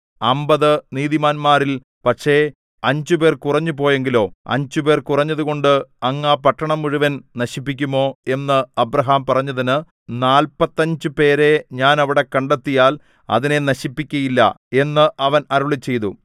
അമ്പത് നീതിമാന്മാരിൽ പക്ഷേ അഞ്ചുപേർ കുറഞ്ഞു പോയെങ്കിലോ അഞ്ചുപേർ കുറഞ്ഞതുകൊണ്ട് അങ്ങ് ആ പട്ടണം മുഴുവനും നശിപ്പിക്കുമോ എന്ന് അബ്രാഹാം പറഞ്ഞതിന് നാല്പത്തഞ്ച് പേരെ ഞാൻ അവിടെ കണ്ടെത്തിയാൽ അതിനെ നശിപ്പിക്കയില്ല എന്ന് അവൻ അരുളിച്ചെയ്തു